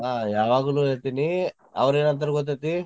ಹಾ ಯಾವಾಗ್ಲೂ ಹೇಳ್ತೇನಿ ಅವ್ರೆನ್ ಅಂತಾರ ಗೊತ್ತೈತಿ.